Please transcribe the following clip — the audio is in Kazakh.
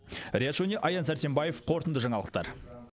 риат шони аян сәрсенбаев қорытынды жаңалықтар